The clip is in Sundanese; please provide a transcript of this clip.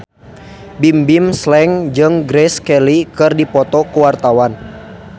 Bimbim Slank jeung Grace Kelly keur dipoto ku wartawan